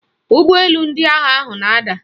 Ụgbọelu ndị agha ahụ na-ada